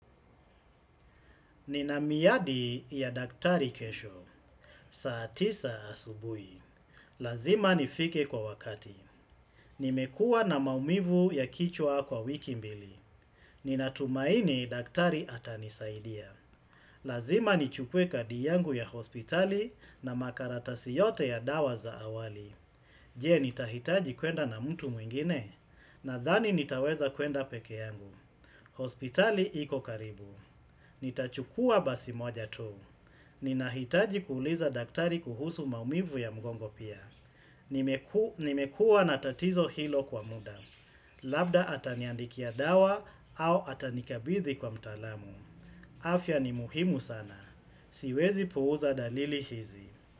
Nina miadi ya daktari kesho. Saa tisa asubuhi. Lazima nifike kwa wakati. Nimekua na maumivu ya kichwa kwa wiki mbili. Ninatumaini daktari atanisaidia. Lazima nichukue kadi yangu ya hospitali na makaratasi yote ya dawa za awali. Je nitahitaji kwenda na mtu mwingine. Nadhani nitaweza kwenda peke yangu. Hospitali iko karibu. Nitachukua basi moja tu. Ninahitaji kuuliza daktari kuhusu maumivu ya mgongo pia. Nimekua na tatizo hilo kwa muda. Labda ataniandikia dawa au atanikabithi kwa mtalamu. Afya ni muhimu sana. Siwezi puuza dalili hizi.